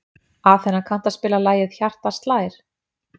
Athena, kanntu að spila lagið „Hjartað slær“?